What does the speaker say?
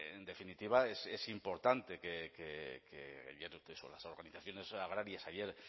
en definitiva es importante que las organizaciones agrarias ayer